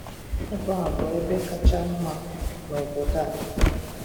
Ebe a bụ ebe kacha mma na obodo a